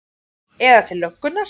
Eða til löggunnar?